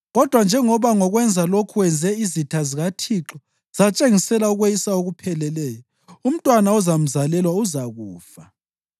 Kodwa njengoba ngokwenza lokhu wenze izitha zikaThixo zatshengisela ukweyisa okupheleleyo, umntwana ozamzalelwa uzakufa.”